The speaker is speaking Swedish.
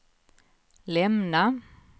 lämna